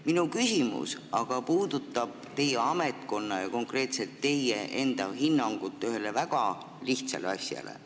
Minu küsimus aga on teie ametkonna ja konkreetselt teie enda hinnangu kohta ühele väga lihtsale asjale.